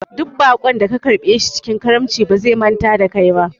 Duk baƙon da ka karɓe shi cikin karamci ba zai manta da kai ba